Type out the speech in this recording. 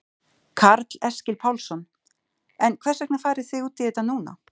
Karl Eskil Pálsson: En hvers vegna farið þið út í þetta núna?